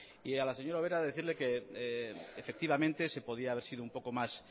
y a la señora ubera decirle que efectivamente se podía haber sido un poco más